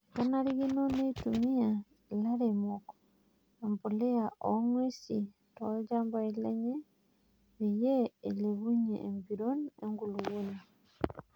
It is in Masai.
Kenarikino neitumiya ilairemok empuliya oo ngwesi tolchambai lenye peyie eilepunyie empiron enkulupuoni.